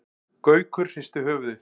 Gaukur hristi höfuðið.